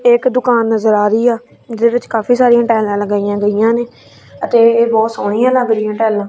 ਇੱਕ ਦੁਕਾਨ ਨਜ਼ਰ ਆ ਰਹੀ ਆ ਜਿਹਦੇ ਵਿੱਚ ਕਾਫੀ ਸਾਰੀਆਂ ਟਾਈਲਾਂ ਲਗਾਈਆਂ ਗਈਆਂ ਨੇ ਅਤੇ ਇਹ ਬੋਹੁਤ ਸੋਹਣੀਆਂ ਲੱਗ ਰਾਹੀਆਂ ਟਾਈਲਾਂ ।